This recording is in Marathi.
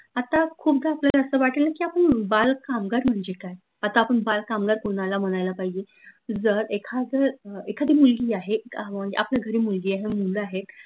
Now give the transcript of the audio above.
आता खूपदा आपल्याला असं वाटेल की आपन बाल कामगार म्हणजे काय? आता आपन बाल कामगार कोनाला म्हणायला पाहिजे जर, एखाद एखादी मुलगी आहे आपल्या घरी मुलगी आहे मूल आहेत